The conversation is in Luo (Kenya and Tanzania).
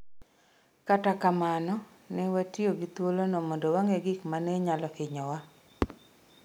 Kata kamano, ne watiyo gi thuolono mondo wageng' gik ma ne nyalo hinyowa.